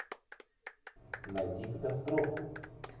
найди катастрофу